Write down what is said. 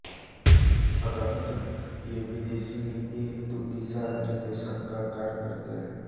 अन्ततः ये विदेशी नीति हेतु दिशा निर्देशन का कार्य करते हैं